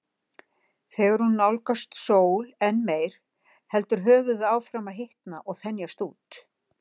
Þegar hún nálgast sól enn meir heldur höfuðið áfram að hitna og þenjast út.